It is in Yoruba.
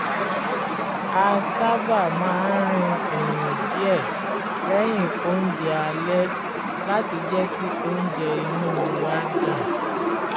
a sábà máa ń rin ìrìn díẹ̀ lẹ́yìn oúnjẹ alẹ́ láti jẹ́ kí óúnjẹ inú wa dà